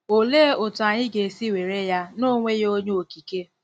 Olee otú anyị ga-esi were ya na o nweghị Onye Okike?